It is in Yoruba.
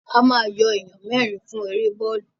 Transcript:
A ma yọ èèyàn mẹ́rin fún èrè bọ́ọ̀lù